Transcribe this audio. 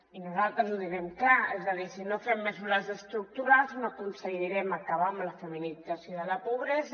i nosaltres ho direm clar és a dir si no fem mesures estructurals no aconsegui·rem acabar amb la feminització de la pobresa